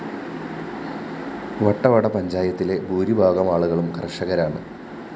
വട്ടവട പഞ്ചായത്തിലെ ഭൂരിഭാഗം ആളുകളും കര്‍ഷകരാണ്